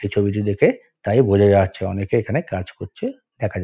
এই ছবিটি দেখে তাই বোঝা যাচ্ছে অনেকে এখানে কাজ করছে দেখা যাচ্--